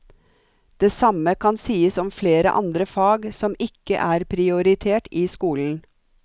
Det samme kan sies om flere andre fag som ikke er prioritert i skolen.